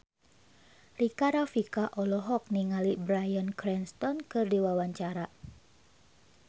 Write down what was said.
Rika Rafika olohok ningali Bryan Cranston keur diwawancara